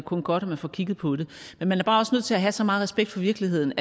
kun godt at man får kigget på det men man er bare også nødt til at have så meget respekt for virkeligheden